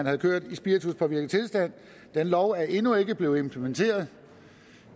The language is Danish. have kørt i spirituspåvirket tilstand den lov er endnu ikke blevet implementeret